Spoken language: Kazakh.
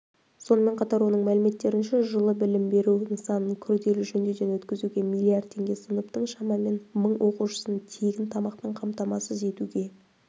сонымен қатар оның мәліметтерінше жылы білім беру нысанын күрделі жөндеуден өткізуге млрд теңге сыныптың шамамен мың оқушысын тегін тамақпен қамтамасыз етуге